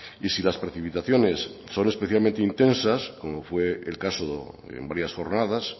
y si las precipitaciones son especialmente intensas como fue el caso en varias jornadas